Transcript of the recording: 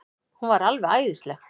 Hún var alveg æðisleg.